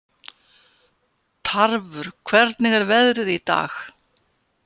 Tarfur, hvernig er veðrið í dag?